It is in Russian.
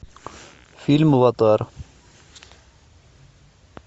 фильм аватар